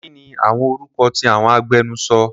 Kini awọn orukọ ti awọn agbẹnusọ?